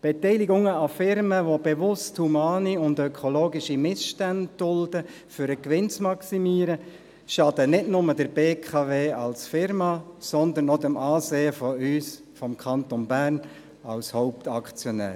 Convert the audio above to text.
Beteiligungen an Unternehmungen, welche bewusst humane und ökologische Missstände dulden, um den Gewinn zu maximieren, schaden nicht nur der BKW als Unternehmung, sondern auch dem Ansehen von uns, dem Kanton Bern als Hauptaktionär.